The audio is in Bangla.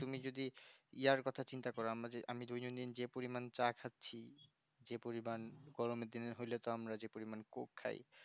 তুমি যদি ইয়ার কথা চিন্তা করো আমাদের দুজনে যে যেই পরিমাণে চা খাচ্ছি যে পরিমাণ আমরা গরম পরলে তো যেই পরিমাণে coke খাই